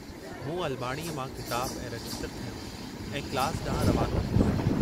मूं अलमाड़ीअ मां किताबु ऐं रजिस्टरु खंयो ऐं क्लास डांहुं रवानो थियुसि।